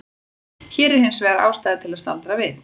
Hér er hins vegar ástæða til að staldra við.